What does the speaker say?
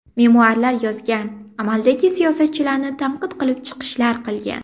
Memuarlar yozgan, amaldagi siyosatchilarni tanqid qilib chiqishlar qilgan.